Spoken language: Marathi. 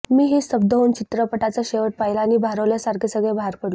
मीही स्तब्ध होऊन चित्रपटाचा शेवट पाहिला आणि भारावल्यासारखे सगळे बाहेर पडलो